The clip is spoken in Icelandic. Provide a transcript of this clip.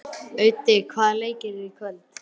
Öddi, hvaða leikir eru í kvöld?